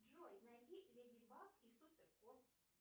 джой найди леди баг и супер кот